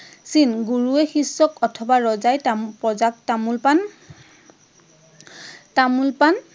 চিন। গুৰুয়ে শিষ্যক অথবা ৰজাই প্ৰজাক তামোল পাণ